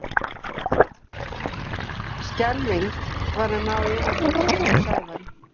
Skelfing var að ná yfirhöndinni hjá Sævari.